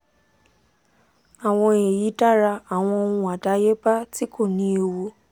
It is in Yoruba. awon eyi dara awon ohun adayeba ti ko ni ewu